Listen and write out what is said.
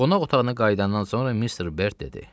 Qonaq otağına qayıdandan sonra Mister Berd dedi: